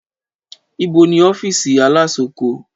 Ìbó ní Ọfísì alasoko?